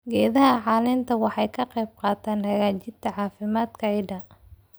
Geedaha caleenta waxay ka qayb qaataan hagaajinta caafimaadka ciidda.